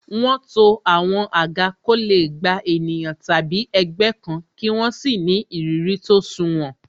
Wọn to àwọn àga ko le gba ènìyàn tàbí ẹgbẹ́ kan, kí wọ́n sì ni ìrírí tó sunwòn.